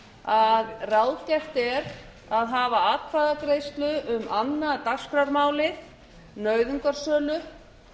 að ráðgert er að hafa atkvæðagreiðslu um annað dagskrármálið nauðungarsölu